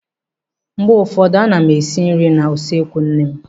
Mgbe ụfọdụ a na m esi nri n'usekwu nne m.